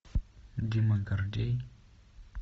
дима гордей